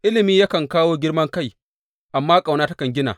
Ilimi yakan kawo girman kai, amma ƙauna takan gina.